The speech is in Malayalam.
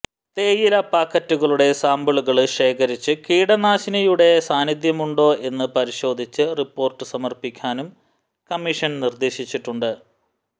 തേയില പാക്കറ്റുകളുടെ സാമ്പിളുകള് ശേഖരിച്ച് കീടനാശിനിയുടെ സാന്നിധ്യമുണ്ടോ എന്ന് പരിശോധിച്ച് റിപ്പോര്ട്ട് സമര്പ്പിക്കാനും കമ്മിഷന് നിര്ദേശിച്ചിട്ടുണ്ട്